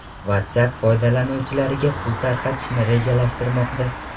WhatsApp foydalanuvchilariga pul tarqatishni rejalashtirmoqda.